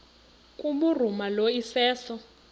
kubhuruma lo iseso